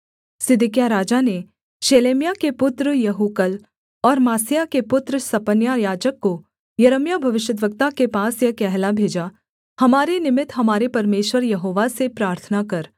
सिदकिय्याह राजा ने शेलेम्याह के पुत्र यहूकल और मासेयाह के पुत्र सपन्याह याजक को यिर्मयाह भविष्यद्वक्ता के पास यह कहला भेजा हमारे निमित्त हमारे परमेश्वर यहोवा से प्रार्थना कर